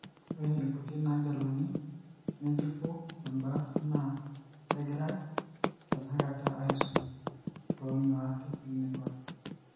Ore inkuti naageluni ng'ejuko embaata naa kegirae tenakata aisum toonyuat eclinical.